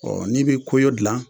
ni bi koyo gilan.